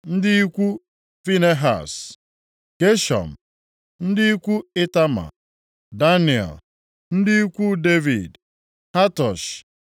ndị ikwu Finehaz, Geshọm; ndị ikwu Itama, Daniel; ndị ikwu Devid, Hatush